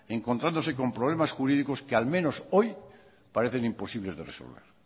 encontrándose con problemas jurídicos que al menos hoy parecen imposibles de resolver